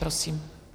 Prosím.